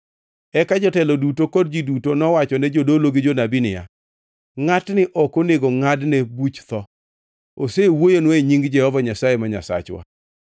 Eka jotelo duto kod ji duto nowachone jodolo gi jonabi niya, “Ngʼatni ok onego ngʼadne buch tho! Osewuoyonwa e nying Jehova Nyasaye ma Nyasachwa.”